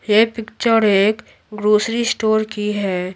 ये पिक्चर एक grocery store की है।